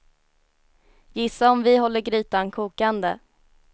Gissa om vi håller grytan kokande.